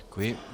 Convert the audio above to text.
Děkuji.